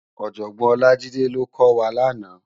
Òjògbòn Olajide ló kò wá làná